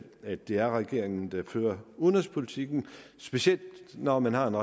at det er regeringen der fører udenrigspolitikken specielt når man har en